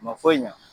Ma foyi ɲa